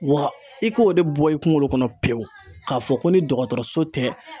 Wa i k'o de bɔ i kungolo kɔnɔ pewu, k'a fɔ ko ni dɔgɔtɔrɔso tɛ